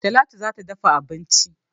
Talatu za ta dafa abinci